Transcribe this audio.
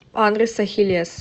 адрес ахиллес